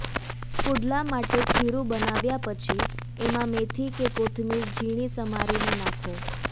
પુડલા માટે ખીરુ બનાવ્યા પછી એમાં મેથી કે કોથમીર ઝીણી સમારીને નાખો